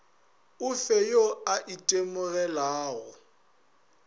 o fe yo a itemogelago